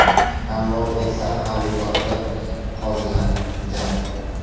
Tanlov esa xaridorda qolgan gap.